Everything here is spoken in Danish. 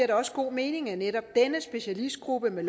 det også god mening at netop denne specialistgruppe med